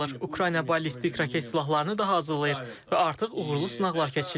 Ukrayna ballistik raket silahlarını da hazırlayır və artıq uğurlu sınaqlar keçirilir.